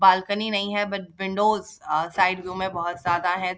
Balcony नहीं है but windows uh side view में बोहोत ज्यादा है।